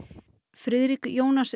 Friðrik Jónas